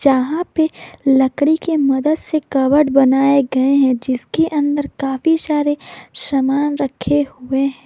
यहां पे लकड़ी के मदद से कवर्ड बनाए गए हैं जिसके अंदर काफी सारे सामान रखे हुए हैं।